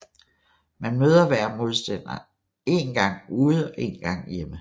Man møder hver modstander én gang ude og én gang hjemme